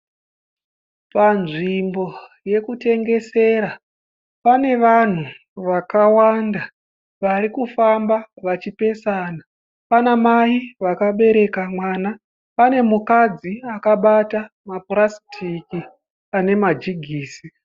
Panzvimbo yekutengesera pane vanhu vakawanda vari kufamba vachipesana. Pana mai vakabereka mwana, pane mukadzi akabata mapurasitiki ane majigisi.